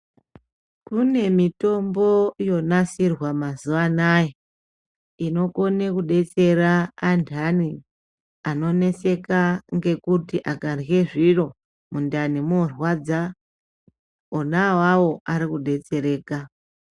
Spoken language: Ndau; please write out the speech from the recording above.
Mune mitombo yonasirwa mazuanaya inokone kudetsera anhani anoneseka ngekuti akarye zviro mundani mworwarwadza onaawawo arikudetsereka .